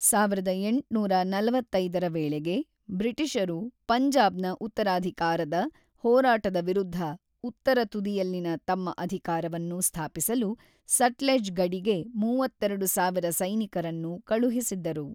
ಸಾವಿರದ ಎಂಟುನೂರ ನಲವತ್ತೈದರ ವೇಳೆಗೆ ಬ್ರಿಟಿಷರು ಪಂಜಾಬ್ನ ಉತ್ತರಾಧಿಕಾರದ ಹೋರಾಟದ ವಿರುದ್ಧ , ಉತ್ತರ ತುದಿಯಲ್ಲಿನ ತಮ್ಮ ಅಧಿಕಾರವನ್ನು ಸ್ಥಾಪಿಸಲು ಸಟ್ಲೆಜ್ ಗಡಿಗೆ ಮೂವತ್ತೆರಡು ಸಾವಿರ ಸೈನಿಕರನ್ನು ಕಳುಹಿಸಿದ್ದರು.